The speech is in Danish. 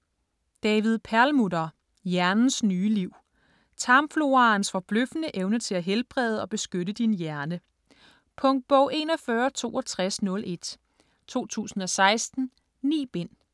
Perlmutter, David: Hjernens nye liv Tarmfloraens forbløffende evne til at helbrede og beskytte din hjerne. Punktbog 416201 2016. 9 bind.